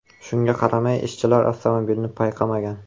Shunga qaramay ishchilar avtomobilni payqamagan.